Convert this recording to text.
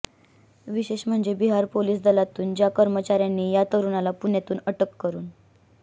विशेष म्हणजे बिहार पोलिस दलातील ज्या कर्मचाऱ्यांनी या तरुणाला पुण्यातून अटक करून